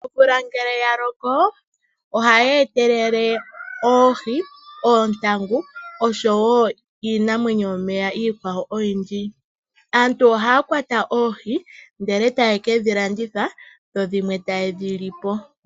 Omvula ngele ya loko, oha yi etelele oohi, oontangu osho woo iinimwenyo yokohi yomeya oyindji. Aantu oha ya kwata oohi, ndele ta ye ke dhi landitha, dho dhimwe ta ye dhi lipo.